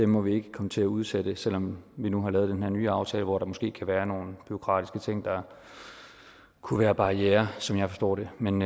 må vi ikke komme til at udsætte selv om vi nu har lavet den her nye aftale hvor der måske kan være nogle bureaukratiske ting der kunne være barrierer som jeg forstår det men